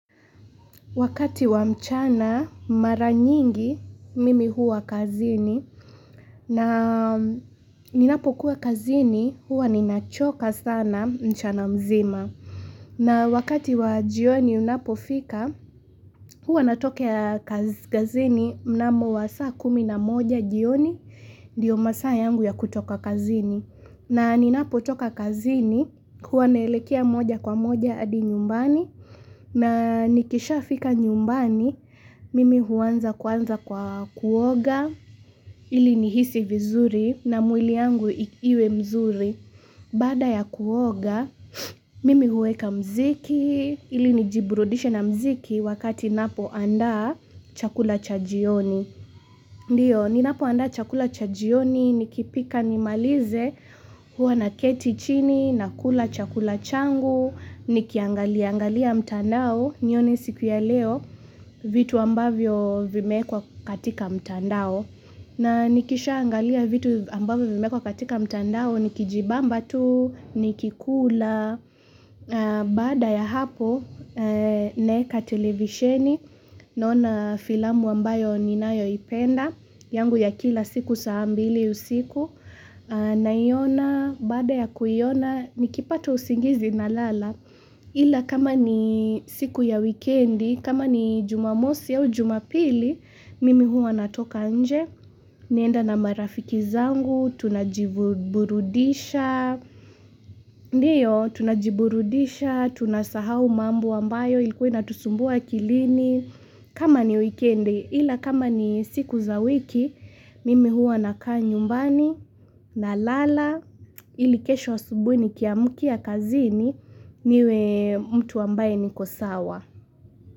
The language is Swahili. Wakati wa mchana mara nyingi mimi huwa kazini na ninapo kuwa kazini huwa ninachoka sana mchana mzima. Na wakati wa jioni unapofika huwa natokea kazini mnamo wa saa kumi na moja jioni ndio masaya yangu ya kutoka kazini. Na ninapo toka kazini, huwa naelekea moja kwa moja hadi nyumbani, na nikishafika nyumbani, mimi huuanza kwanza kwa kuoga, ili nihisi vizuri na mwili yangu iwe mzuri. Baada ya kuoga, mimi huweka mziki ili nijiburudishe na mziki wakati ninapoandaa chakula cha jioni. Ndio, ninapoaanda chakula cha jioni, nikipika nimalize, hua naketibchini, nakula chakula changu nikiangaliaangalia mtandao, nione hii siku ya leo, vitu ambavyo vimewekwa katika mtandao. Na nikisha angalia vitu ambavyo vimewekwa katika mtandao nikijibamba tu nikikula, baada ya hapo naeka televisheni, naona filamu ambayo ninayoipenda. Yangu ya kila siku saa mbili usiku. Naiona, baada ya kuiona nikipata usingizi nalala Ila kama ni siku ya weekendi, kama ni jumamosi au jumapili, mimi huwa natoka nje naenda na marafiki zangu tunajiburudisha Ndio, tunajiburudisha, tunasahau mambo ambayo Ilikua inatusumbua akilini kama ni weekendi. Ila kama ni siku za wiki Mimi huwa nakaa nyumbani nalala ili kesho asubuhi nikiamkia kazini niwe mtu ambaye niko sawa.